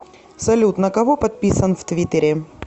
салют на кого подписан в твиттере